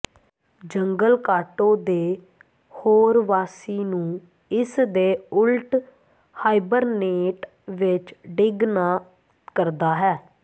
ਜੰਗਲ ਕਾਟੋ ਦੇ ਹੋਰ ਵਾਸੀ ਨੂੰ ਇਸ ਦੇ ਉਲਟ ਹਾਈਬਰਨੇਟ ਵਿਚ ਡਿੱਗ ਨਾ ਕਰਦਾ ਹੈ